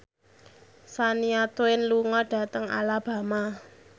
Shania Twain lunga dhateng Alabama